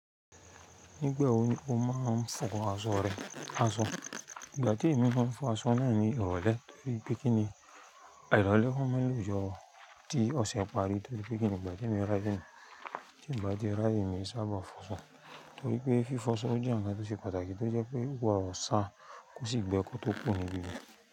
Nígbà wo ni o máa ń fọ aṣọ rẹ? Aṣọ, ìgbà tí èmi máa ń fọ aṣọ náà ni ìrọ̀lẹ́ torí pé kí ni à ìrọ̀lẹ́ máa ń ní òjò tí ọ̀sẹ̀ ń parí torí pé kí ni ìgbà tí mo ráyè mi, tí mi bà tí ráyè mi sábà fọ aṣọ torí pé fí fọ aṣọ jẹ́ ǹkan tó ṣe pàtàkì tó jẹ́ pé ó máa sa kó sì gbẹ́ kó tó kuro níbi.